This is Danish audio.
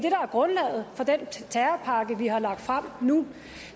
er grundlaget for den terrorpakke vi har lagt frem nu